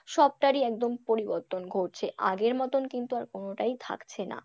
সবটারই একদম পরিবর্তন ঘটছে আগের মতোন কিন্তু আর কোনটাই থাকছে না,